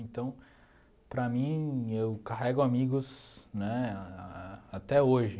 Então, para mim, eu carrego amigos né até hoje.